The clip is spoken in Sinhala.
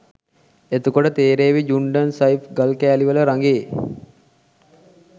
එතකොට තේරේවි ජුන්ඩන් සයිස් ගල් කෑලි වල රඟේ